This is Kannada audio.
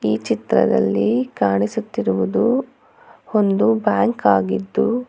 ಈ ಚಿತ್ರದಲ್ಲಿ ಕಾಣಿಸುತ್ತಿರುವುದು ಒಂದು ಬ್ಯಾಂಕ್ ಆಗಿದ್ದು.